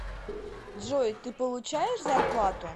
джой ты получаешь зарплату